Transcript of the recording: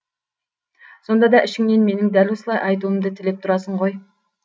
сонда да ішіңнен менің дәл осылай айтуымды тілеп тұрасың ғой